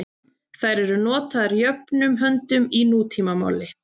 Þær eru notaðar jöfnum höndum í nútímamáli.